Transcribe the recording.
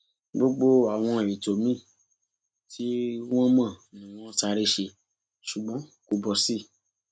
gbogbo àwọn ètò míi tí wọn mọ ni wọn sáré ṣe ṣùgbọn kò bọ sí i